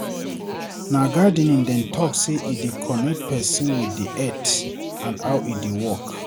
Na gardening dem talk sey e dey connect pesin with di earth and how e dey work.